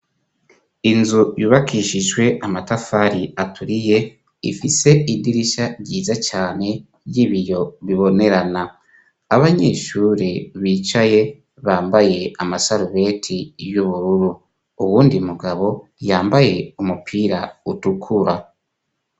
Inzu yubakishijwe amatafari aturiye, ifise idirisha ryiza cane ry'ibiyo bibonerana abanyeshure bicaye bambaye amasarubeti y'ubururu, uwundi mugabo yambaye umupira utukura.